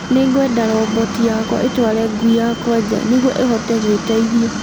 Nĩ ngwenda roboti yakwa ĩtware ngui yakwa nja nĩguo ĩhote gwiteiithia